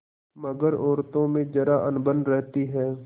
मगर औरतों में जरा अनबन रहती है